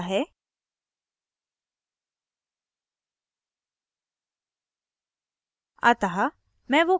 मुझे यह message मिलता है